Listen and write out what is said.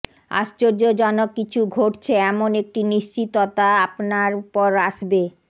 আশ্চর্যজনক কিছু ঘটছে এমন একটি নিশ্চিততা আপনার উপর আসবে